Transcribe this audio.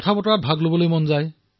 কথাপতা আৰম্ভ কৰো